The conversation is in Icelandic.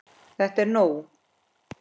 ÞETTA ER NÓG!